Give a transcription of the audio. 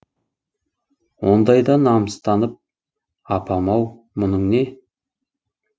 ондайда намыстанып апам ау мұның не